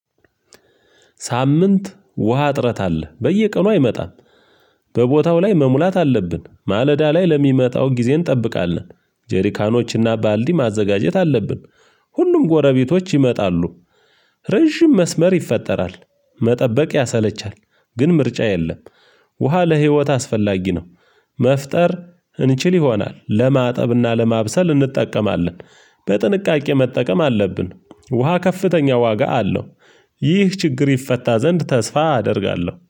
ሳምንት ውሃ ጥረት አለ በየቀኑ አይመጣም። በቦታው ላይ መሙላት አለብን ማለዳ ላይ ለሚመጣው ጊዜ እንጠብቃለን ጀሪካኖችና ባልዲ ማዘጋጀት አለብን። ሁሉም ጎረቤቶች ይመጣሉ። ረጅም መስመር ይፈጠራል። መጠበቅ ያሰለቻል ግን ምርጫ የለም። ውሃ ለህይወት አስፈላጊ ነው። መፍጠር እንችል ይሆናል ለማጠብና ለማብሰል እንጠቀማለን። በጥንቃቄ መጠቀም አለብን ውሃ ከፍተኛ ዋጋ አለው። ይህ ችግር ይፈታ ዘንድ ተስፋ አደርጋለሁ